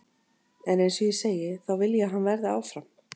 En eins og ég segi, þá vil ég að hann verði áfram.